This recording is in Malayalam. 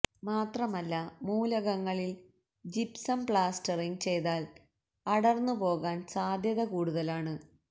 മാത്രമല്ല മൂലകളിൽ ജിപ്സം പ്ലാസ്റ്ററിങ് ചെയ്താൽ അടർന്നു പോകാൻ സാധ്യത കൂടുതലാണ്